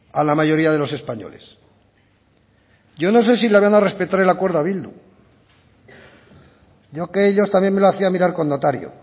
a la mayoría de los españoles yo no sé si le van a respetar el acuerdo a bildu yo que ellos también me lo hacía mirar con notario